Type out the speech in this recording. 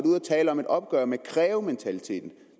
ude at tale om et opgør med krævementaliteten det